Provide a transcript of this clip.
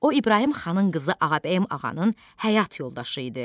O İbrahim xanın qızı Ağabəyim ağanın həyat yoldaşı idi.